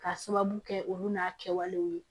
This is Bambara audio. Ka sababu kɛ olu n'a kɛwalew ye